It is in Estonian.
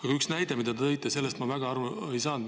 Aga ühest näitest, mille te tõite, ma väga aru ei saanud.